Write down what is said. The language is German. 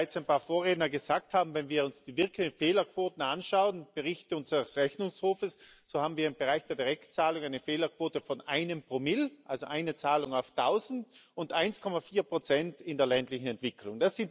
So wie bereits ein paar Vorredner gesagt haben, wenn wir uns die wirklichen Fehlerquoten anschauen und Berichte unseres Rechnungshofes, so haben wir im Bereich der Direktzahlung eine Fehlerquote von einem Promille, also eine Zahlung auf Tausend, und 1,4 in der ländlichen Entwicklung.